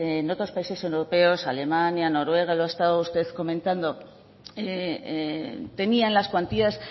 en otros países europeos alemania noruega lo ha estado usted comentando tenían las cuantías